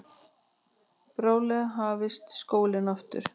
Bráðlega hæfist skólinn aftur.